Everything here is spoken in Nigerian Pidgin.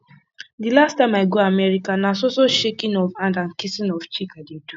the last time i go america na so so shaking of hand and kissing of cheek i dey do